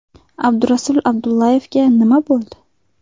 Abdurasul Abdullayevga nima bo‘ldi?